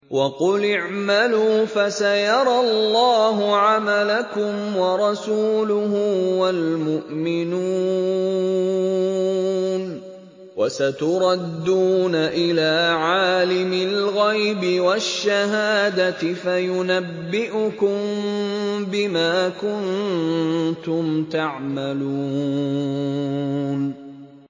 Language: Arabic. وَقُلِ اعْمَلُوا فَسَيَرَى اللَّهُ عَمَلَكُمْ وَرَسُولُهُ وَالْمُؤْمِنُونَ ۖ وَسَتُرَدُّونَ إِلَىٰ عَالِمِ الْغَيْبِ وَالشَّهَادَةِ فَيُنَبِّئُكُم بِمَا كُنتُمْ تَعْمَلُونَ